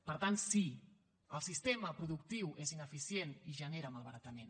per tant sí el sistema productiu és ineficient i genera malbaratament